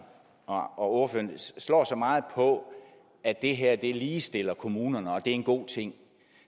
og ordføreren slår så meget på at det her ligestiller kommunerne og at det er en god ting